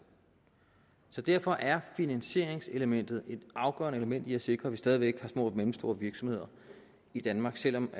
derfor er finansieringselementet et afgørende element i at sikre at vi stadig væk har små og mellemstore virksomheder i danmark selv om